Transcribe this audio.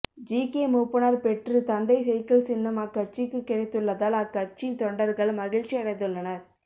GK Moopanar பெற்று தந்தை cycle சின்னம் அக்கட்சிக்கு கிடைத்துள்ளதால் அக்கட்சின் தொண்டர்கள் மகிழ்ச்சி அடைந்துள்ளனர்